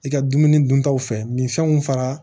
I ka dumuni duntaw fɛ minfɛnw fara